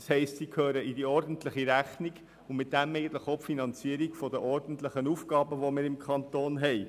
Das heisst, sie gehören in die ordentliche Rechnung und dienen damit auch der Finanzierung der ordentlichen Aufgaben, die wir im Kanton haben.